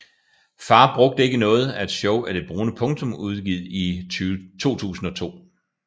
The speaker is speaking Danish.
Far brugte ikke noget er et show af Det Brune Punktum udgivet i 2002